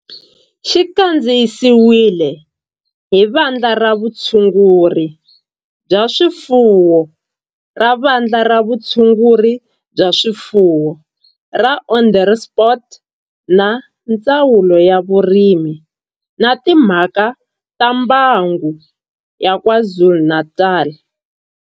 Xi kandziyisiwe hi Vandla ra Vutshunguri bya swifuwo ra Vandla ra Vutshunguri bya swifuwo ra Onderstepoort na Ndzawulo ya Vurimi na Timhaka ta Mbango ya KwaZulu-Natal